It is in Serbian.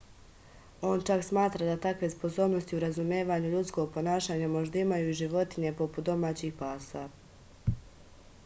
on čak smatra da takve sposobnosti u razumevanju ljudskog ponašanja možda imaju i životinje poput domaćih pasa